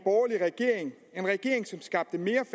skal